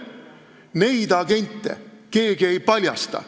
Neid agente keegi ei paljasta.